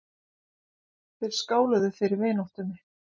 Þeir skáluðu fyrir vináttunni.